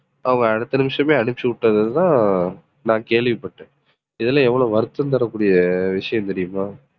அவங்க அடுத்த நிமிஷமே அனுப்பிச்சுவிட்டது தான் நான் கேள்விப்பட்டேன் இதெல்லாம் எவ்வளவு வருத்தம் தரக்கூடிய விஷயம் தெரியுமா